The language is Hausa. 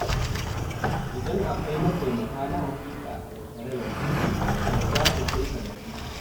Idan akwai mataimaka na haƙiƙa a tattare da kai, to zasu kai ka gaci.